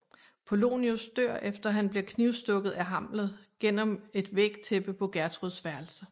Polonius dør efter at han bliver knivstukket af Hamlet gennem et vægtæppe på Gertruds værelse